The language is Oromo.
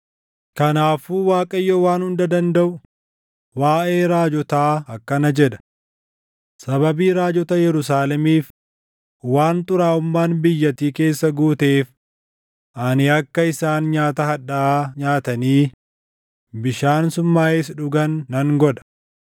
Kanaafuu Waaqayyo Waan Hunda Dandaʼu waaʼee raajotaa akkana jedha: “Sababii raajota Yerusaalemiif, waan xuraaʼummaan biyyattii keessa guuteef ani akka isaan nyaata hadhaaʼaa nyaatanii bishaan summaaʼes dhugan nan godha.”